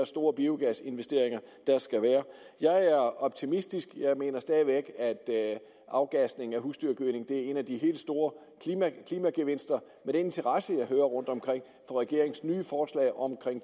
store biogasinvesteringer der skal være jeg er optimistisk jeg mener stadig væk at afgasningen af husdyrgødning er en af de helt store klimagevinster med den interesse jeg hører rundtomkring for regeringens nye forslag om